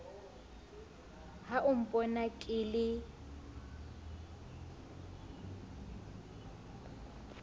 ha o mpona ke le